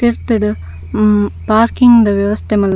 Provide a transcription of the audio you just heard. ತಿರ್ತುಡು ಹ್ಮ್ ಪಾರ್ಕಿಂಗ್ ದ ವ್ಯವಸ್ಥೆ ಮಂತೆರ್.